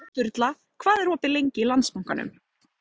Sturla, hvað er opið lengi í Landsbankanum?